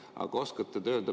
Aga oskate te seda öelda?